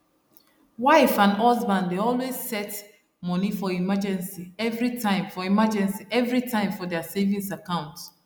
wife and husband dey always set moni for emergency everytime for emergency everytime for their savings account